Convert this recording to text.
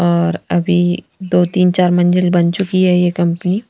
और अभी दो-तीन चार मंजिल बन चुकी है ये कंपनी --